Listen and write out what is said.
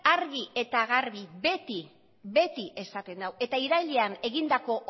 argi eta garbi beti esaten du eta irailean egindako